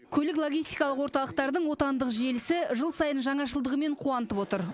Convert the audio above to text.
көлік логистикалық орталықтардың отандық желісі жыл сайын жаңашылдығымен қуантып отыр